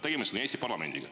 Tegemist on Eesti parlamendiga.